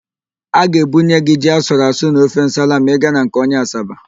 A ga-ebunye gị ji asụruasụ na ofe nsala ma ị ga na nke onye Asaba.